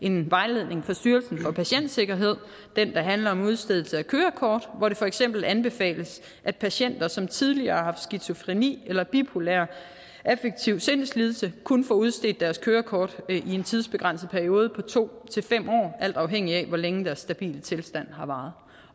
en vejledning fra styrelsen for patientsikkerhed der handler om udstedelse af kørekort hvor det for eksempel anbefales at patienter som tidligere har haft skizofreni eller bipolar affektiv sindslidelse kun får udstedt deres kørekort i en tidsbegrænset periode på to til fem år alt afhængigt af hvor længe deres stabile tilstand har varet